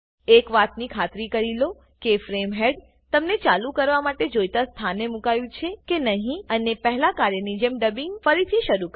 એક વાત ની ખાતરી કરી લો કે ફ્રેમ હેડ તમને ચાલુ કરવા માટે જોઈતા સ્થાને મુકાયું છે કે નહી અને પહેલા કાર્યની જેમ ડબિંગ ફરીથી શરુ કરો